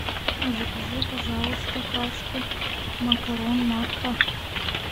закажи пожалуйста пачку макарон макфа